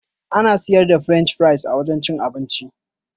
Ana siyar da French fries a wajan cin abinci.